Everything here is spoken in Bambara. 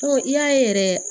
Fɔ i y'a ye yɛrɛ